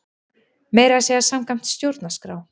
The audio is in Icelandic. Meira að segja samkvæmt stjórnarskrá!